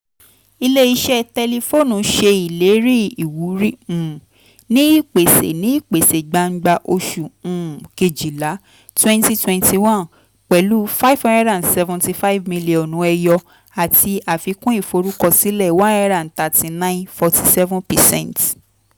ilé-iṣẹ́ tẹlifóònù ṣe ìlérí ìwúrí um ní ìpèsè ní ìpèsè gbangba oṣù um kejìlá twenty twenty one pẹ̀lú five hundred seventy five mílíọ́nù ẹyọ àti àfikún ìforúkọsílẹ̀ one hundred thirty nine point four seven percent.